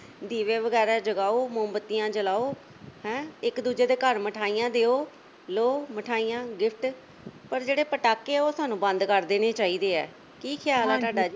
ਦੀਵੇ ਵਗੈਰਾ ਜਗਾਓ, ਮੋਮਬੱਤੀਆਂ ਜਲਾਓ ਹੈਂ ਇੱਕ-ਦੂਜੇ ਦੇ ਘਰ ਮਿਠਾਈਆਂ ਦਿਓ, ਲਓ ਮਿਠਾਈਆਂ, gift ਪਰ ਜਿਹੜੇ ਪਟਾਕੇ ਆ ਉਹ ਸਾਨੂੰ ਬੰਦ ਕਰ ਦੇਣੇ ਚਾਹੀਦੇ ਐ ਕੀ ਖਿਆਲ ਐ ਤੁਹਾਡਾ ਜੀ?